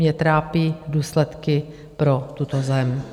Mě trápí důsledky pro tuto zem.